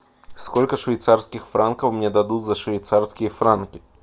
сколько швейцарских франков мне дадут за швейцарские франки